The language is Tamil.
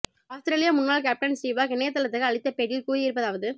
ஆஸ்திரேலிய முன்னாள் கேப்டன் ஸ்டீவ்வாக் இணைய தளத்துக்கு அளித்த பேட்டியில் கூறி இருப்பதாவது